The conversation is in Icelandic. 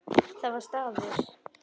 Það var staður.